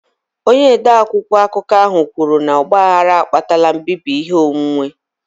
Onye ode akwụkwọ akụkọ ahụ kwuru na ọgbaghara akpatala mbibi ihe onwunwe